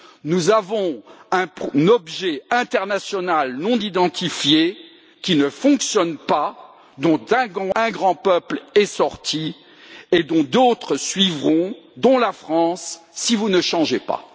Nous avons un objet international non identifié qui ne fonctionne pas, dont un grand peuple est sorti et dont d'autres suivront, dont la France, si vous ne changez pas.